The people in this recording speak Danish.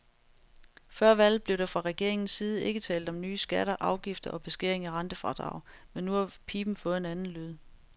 Før valget blev der fra regeringens side ikke talt om nye skatter, afgifter og beskæring af rentefradrag, men nu har piben fået en anden lyd.